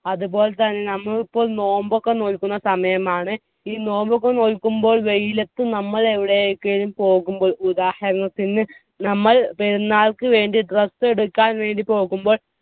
അത് പോലെത്തന്നെ നമ്മുക്ക് നോമ്പൊക്കെ നോൽക്കുന്ന സമയമാണ് ഈ നോമ്പൊക്കെ നോൽക്കുമ്പോൾ വെയിലത്ത് നമ്മൾ എവിടേക്കിലും പോകുമ്പോൾ ഉദാഹരണത്തിന് നമ്മൾ പെരുന്നാൾക്ക് വേണ്ടി dress എടുക്കാൻ വേണ്ടി പോകുമ്പോൾ